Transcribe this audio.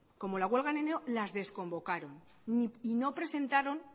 como la huelga en enero las desconvocaron y no presentaron